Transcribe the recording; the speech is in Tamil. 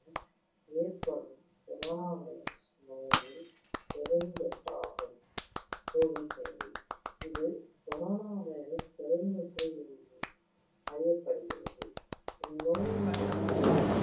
ஏற்படும் corona virus நோயின் பெருந்தொற்றாகும் இது கொரோனாவைரஸ் பெருந்தொற்று என்றும் அறியப்படுகிறது. இந்நோயின் தொற்று